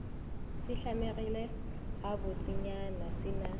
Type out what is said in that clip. se hlamegile gabotsenyana se na